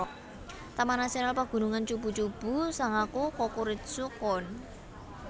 Taman Nasional Pagunungan Chubu Chubu Sangaku Kokuritsu Koen